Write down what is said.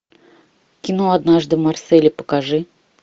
кино однажды в марселе покажи